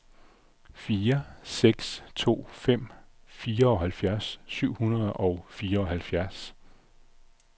fire seks to fem fireoghalvfjerds syv hundrede og fireoghalvfjerds